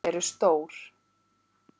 Þau eru stór.